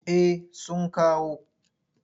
Eh sun kawo.